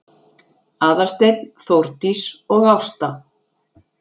Aðalsteinn, Þórdís og Ásta